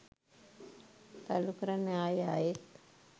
තල්ලු කරන්න ආයෙ ආයෙත්